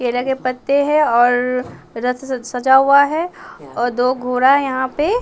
केला के पत्ते हैं और रथ सजा हुआ है और दो घोरा है यहाँ पे --